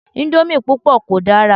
Íńdómì púpọ̀ kò dára.